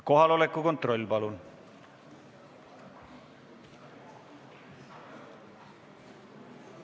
Kohaloleku kontroll, palun!